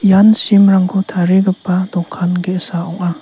ian sim rangko tarigipa dokan ge·sa ong·a.